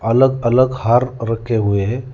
अलग अलग हार रखे हुए है।